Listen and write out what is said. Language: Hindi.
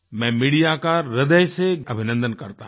मैं मीडिया का हृदय से अभिनन्दन करता हूँ